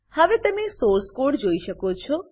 હવે તમે source source code જોઈ શકો છો